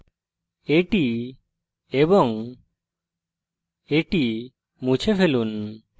এটি এবং এটি মুছে ফেলুন